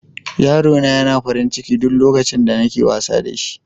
yaro na yana farin ciki duk lokacin da nake wasa da shi.